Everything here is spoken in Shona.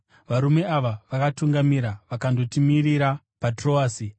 Varume ava vakatungamira vakandotimirira paTroasi.